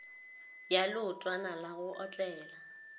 ya leotwana la go otlela